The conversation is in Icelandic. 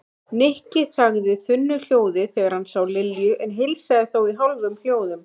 Nikki þagði þunnu hljóði þegar hann sá Lilju en heilsaði þó í hálfum hljóðum.